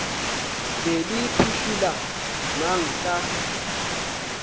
be le phušula mang ka